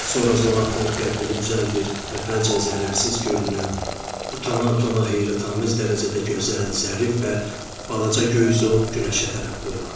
Sonra zoğ atır, qəddini düzəldir, əvvəlcə zərərsiz görünən utana-utana heyrətamiz dərəcədə gözəl, zərif və balaca göy zoğ günəşə tərəf boylanır.